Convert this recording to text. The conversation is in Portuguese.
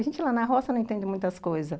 A gente lá na roça não entende muitas coisas.